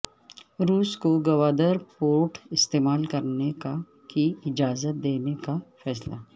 روس کو گوادر پورٹ استعمال کرنے کی اجازت دینے کا فیصلہ